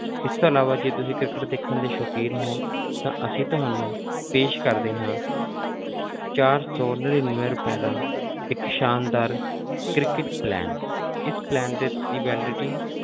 ਇਸ ਤੋਂ ਇਲਾਵਾ ਜੇ ਤੁਸੀਂ ਕ੍ਰਿਕਟ ਦੇਖਣ ਦੇ ਸ਼ੌਕੀਨ ਹੋ ਤਾਂ ਅਸੀਂ ਤੁਹਾਨੂੰ ਪੇਸ਼ ਕਰਦੇ ਹਾਂ ਚਾਰ ਸੌ ਨੜ੍ਹਿਨਵੇਂ ਰੁਪਏ ਦਾ ਇੱਕ ਸ਼ਾਨਦਾਰ ਕ੍ਰਿਕਟ plan ਇਸ plan ਦੇ ਦੀ validity